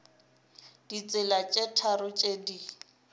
ditsela tše tharo tše di